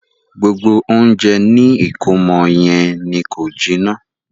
Gbogbo ounjẹ ni ìkómọ yẹn ni ko jiná.